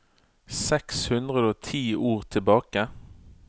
Seks hundre og ti ord tilbake